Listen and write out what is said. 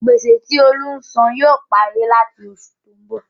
Gbèsè tí Olú ń sàn yóò parí làti oṣù tó ń bọ̀.